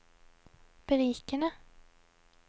berikende